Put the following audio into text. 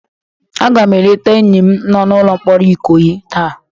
Aga m eleta enyi m nọ n'ụlọ mkpọrọ Ikoyi taa